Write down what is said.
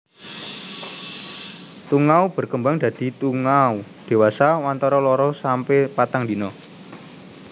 Tungau berkembang dadi tungau dewasa wantara loro sampe patang dina